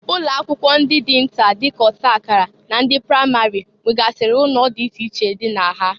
Ụlọakwụkwọ ndị nta dịka ọtakara na ndị pramari nwegasịrị ụnọ dị iche iche dị na ha.